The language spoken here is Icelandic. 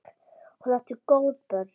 Hún átti góð börn.